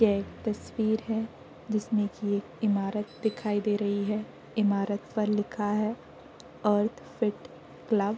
यह एक तस्वीर है। जिसमें कि एक ईमारत दिखाई दे रही है। ईमारत पर लिखा है अर्थ फिट क्लब ।